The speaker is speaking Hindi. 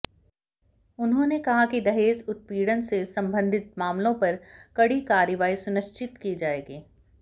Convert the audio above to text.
उन्होंने कहा कि दहेज उत्पीड़न से संबधित मामलों पर कड़ी कार्रवाई सुनिश्चित की जाएगी